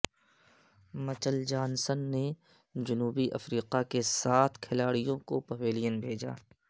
مچل Johnson نے جنوبی افریقہ کے سات کھلاڑیوں کو پویلین بھیجا